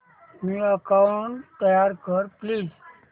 new account तयार कर please